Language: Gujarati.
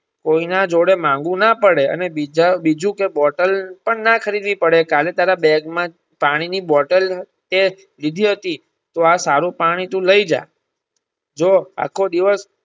કોઈ ના જોડે માંગવું ના પડે અને બીજા બીજું કે bottle પણ ના ખરીદવી પડે કાલે તારા બેગ માં પાણી ની bottle તે લીધી હતી ત્યાં સારું પાણી તું લઇ જા જે આખો દીવસ.